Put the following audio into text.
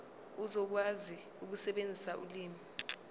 uzokwazi ukusebenzisa ulimi